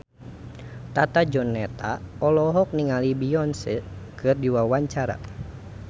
Tata Janeta olohok ningali Beyonce keur diwawancara